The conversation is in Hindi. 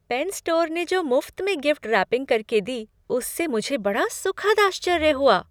पेन स्टोर ने जो मुफ्त में गिफ्ट रैपिंग करके दी उससे मुझे बड़ा सुखद आश्चर्य हुआ।